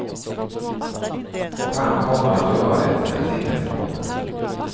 Och han kommer att göra det när tiden är mogen.